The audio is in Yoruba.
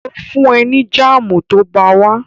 Ó fún ẹ ní jáàmù tó bá wá